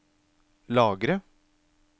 lagre